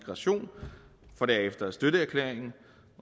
fra to tusind